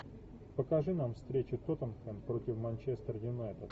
покажи нам встречу тоттенхэм против манчестер юнайтед